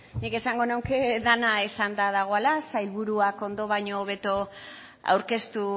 nik esango nuke dena esanda dagoela sailburuak ondo baino hobeto aurkeztu